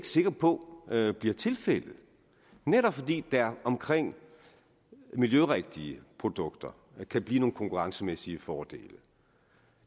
sikker på at det bliver tilfældet netop fordi der omkring miljørigtige produkter kan blive nogle konkurrencemæssige fordele